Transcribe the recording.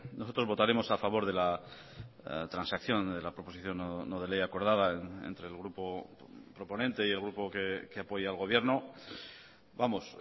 nosotros votaremos a favor de la transacción de la proposición no de ley acordada entre el grupo proponente y el grupo que apoya al gobierno vamos